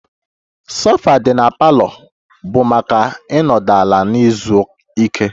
Sofa dị na parlor bụ maka ịnọdụ ala na izu ike